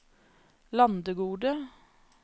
Landegode